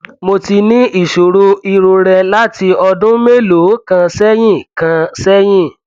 mo ti ní ìṣòro irorẹ láti ọdún mélòó kan sẹyìn kan sẹyìn